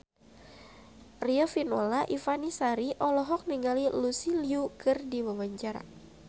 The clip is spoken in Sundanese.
Riafinola Ifani Sari olohok ningali Lucy Liu keur diwawancara